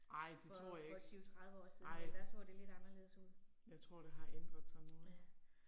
Ej det tror jeg ikke, ej. Jeg tror det har ændret sig nu